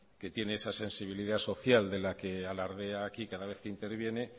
que tiene esa sensibilidad social de la que alardea aquí cada vez que interviene